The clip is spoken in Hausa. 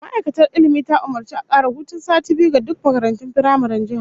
Ma'aikatar Ilmi ta umurci a kara hutun sati biyu ga duk makarantun firamaren jihar